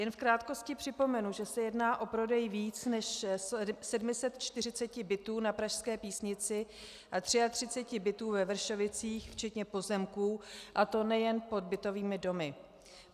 Jen v krátkosti připomenu, že se jedná o prodej více než 740 bytů na pražské Písnici a 33 bytů ve Vršovicích včetně pozemků, a to nejen pod bytovými domy.